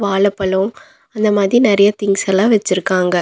வாழப்பழோ அந்த மாதி நெறையா திங்ஸ் எல்லா வெச்சிருக்காங்க.